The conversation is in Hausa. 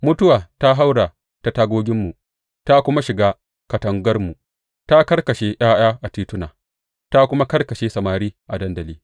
Mutuwa ta haura ta tagoginmu ta kuma shiga katangarmu; ta karkashe ’ya’ya a tituna ta kuma karkashe samari a dandali.